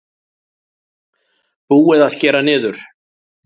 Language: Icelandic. Búið að skera niður